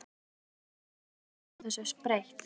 Andri Ólafsson: Þú vilt ekki sjá þessu breytt?